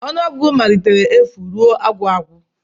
Ọnụọgụgụ malitere n'efu ruo agwụagwụ